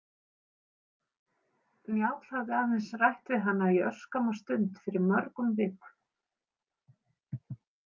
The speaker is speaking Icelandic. Njáll hafði aðeins rætt við hana í örskamma stund fyrir mörgum vikum.